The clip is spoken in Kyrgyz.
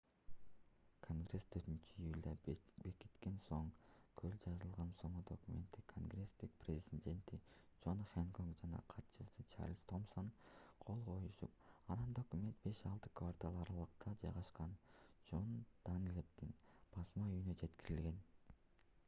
конгресс 4-июлда бекиткен соң колго жазылган сомо документке конгресстин президенти джон хэнкок жана катчысы чарльз томсон кол коюшуп анан документ беш-алты квартал аралыкта жайгашкан джон данлэпдин басма үйүнө жеткирилген